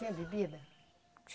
Tinha bebida?